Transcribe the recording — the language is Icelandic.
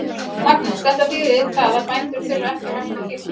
Magnús: Þetta þýðir það að bændur þurfa ekki að vakta kýrnar?